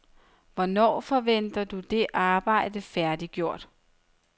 Hvornår forventer du det arbejde færdiggjort?